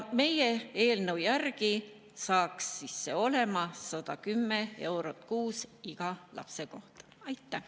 Meie eelnõu järgi saaks see olema 110 eurot kuus iga lapse kohta.